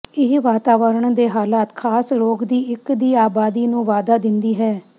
ਇਹ ਵਾਤਾਵਰਣ ਦੇ ਹਾਲਾਤ ਖਾਸ ਰੋਗ ਦੀ ਇੱਕ ਦੀ ਆਬਾਦੀ ਨੂੰ ਵਾਧਾ ਦਿੰਦੀ ਹੈ